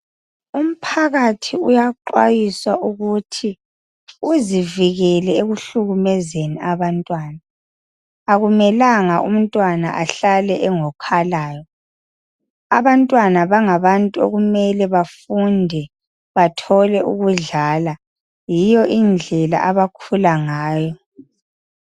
umphakathi uyaxwayiswa ukuthi uzivikele ekuhlukuluzani abantwana akumela umntwana ahlale engokhalayo abantwana bangabantu okumele bafunde bathole ukudlala yiyo indlela abakhula ngayo